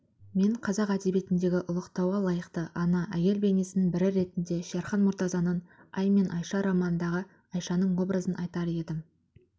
мен қазақ әдебиетіндегі ұлықтауға лайықты ана әйел бейнесінің бірі ретінде шерхан мұртазаның ай мен айша романындағы айшаның образын айтар едім